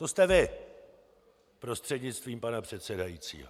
To jste vy prostřednictvím pana předsedajícího.